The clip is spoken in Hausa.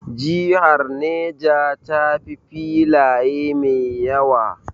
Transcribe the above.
Jihar Neja ta fi filaye mai yawa